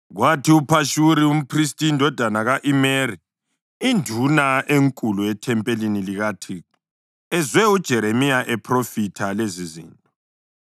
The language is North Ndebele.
Kwathi uPhashuri umphristi indodana ka-Imeri, induna enkulu ethempelini likaThixo, ezwe uJeremiya ephrofitha lezizinto,